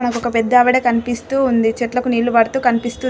మనకొక పెద్దావిడ కనిపిస్తూ ఉంది. చెట్లకు నీళ్లు పడుతూ కనిపిస్తుంది.